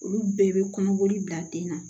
Olu bɛɛ bɛ kɔnɔboli bila den na